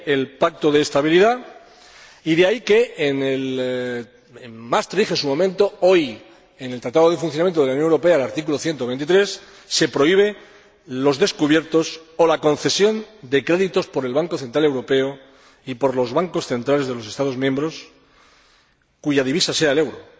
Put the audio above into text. De ahí el Pacto de Estabilidad y de ahí que, en Maastricht en su momento, hoy en el Tratado de Funcionamiento de la Unión Europea, en el artículo 123, se prohíben los descubiertos o la concesión de créditos para tales descubiertos por el Banco Central Europeo y por los Bancos Centrales de los Estados miembros cuya divisa sea el euro.